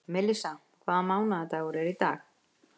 Melissa, hvaða mánaðardagur er í dag?